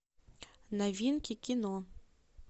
новинки кино